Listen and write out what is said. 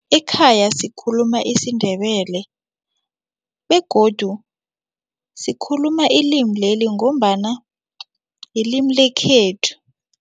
Ekhaya sikhuluma isiNdebele begodu sikhuluma ilimi leli ngombana yilimi lekhethu.